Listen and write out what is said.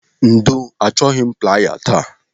Ndo, achọghị m playa taa.